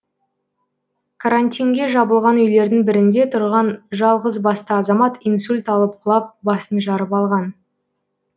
карантинге жабылған үйлердің бірінде тұрған жалғыз басты азамат инсульт алып құлап басын жарып алған